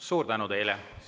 Suur tänu teile!